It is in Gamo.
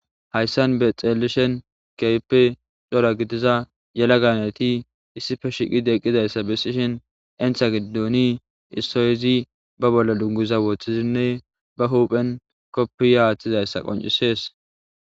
Haysan xeelishin keehippe cora gidiza yelaga nayti issippe shiqidi eqidaysa bessishin issi addezi ba bolla dunguza wothidi ba huphen kopiya athidaysa koncisses